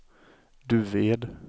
Duved